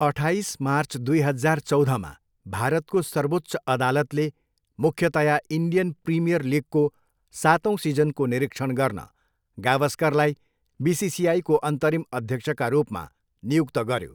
अठाइस मार्च दुई हजार चौधमा भारतको सर्वोच्च अदालतले मुख्यतया इन्डियन प्रिमियर लिगको सातौँ सिजनको निरीक्षण गर्न गावस्करलाई बिसिसिआईको अन्तरिम अध्यक्षका रूपमा नियुक्त गऱ्यो।